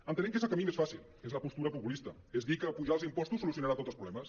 ente·nem que és el camí més fàcil que és la postura populista és dir que apujar els im·postos solucionarà tots els problemes